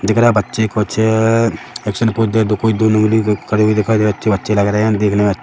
दिख रहा है बच्चे कुछ एक्शन पोज़ दे कोई दोनों उंगली करे हुए दिखाई दे रहे है अच्छे बच्चे लग रहे है दिखने में --